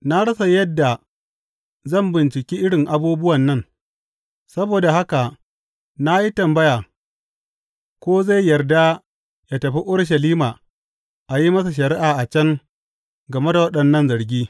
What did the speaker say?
Na rasa yadda zan bincike irin abubuwan nan; saboda haka na yi tambaya ko zai yarda ya tafi Urushalima a yi masa shari’a a can game da waɗannan zargi.